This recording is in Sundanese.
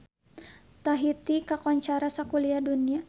Tahiti kakoncara sakuliah dunya